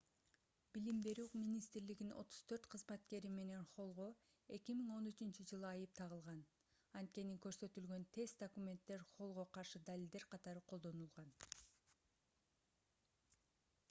билим берүү министрлигинин 34 кызматкери менен холлго 2013-жылы айып тагылган анткени көрсөтүлгөн тест документтер холлго каршы далилдер катары колдонулган